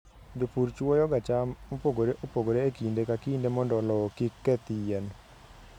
Jopur chwoyoga cham mopogore opogore e kinde ka kinde mondo lowo kik keth yien.